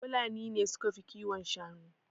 Fulani ne suka fi kiwon shanu.